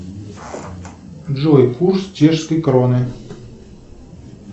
джой курс чешской кроны